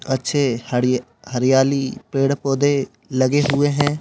अच्छे हड़ि हरियाली पेड़-पौधे लगे हुए हैं।